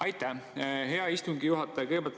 Aitäh, hea istungi juhataja!